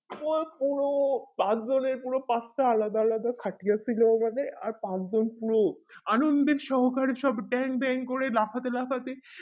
ও হো চারজনের পুরো পাঁচটা আলাদা আলাদা খাটিয়া ছিল এইভাবে আর পাঁচজন আনন্দের সংঘে সব ড্যাং ড্যাং করে লাফাতে লাফাতে